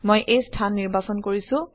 মই এই স্থান নিৰ্বাচন কৰিছো